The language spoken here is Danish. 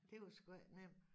Det var sgu ej nem